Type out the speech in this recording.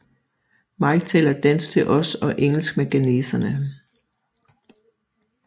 Mike taler dansk til os og engelsk med ghaneserne